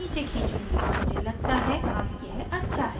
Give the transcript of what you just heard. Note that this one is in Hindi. मुझे लगता है अब यह अच्छा है